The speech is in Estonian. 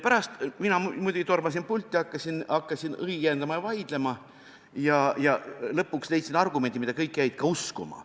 Pärast tormasin mina muidugi pulti ja hakkasin õiendama ja vaidlema ja lõpuks leidsin argumendi, mida kõik jäid uskuma.